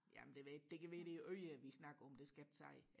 jamen det ved jeg ikke det kan være det er øre vi snakker om det skal jeg ikke sige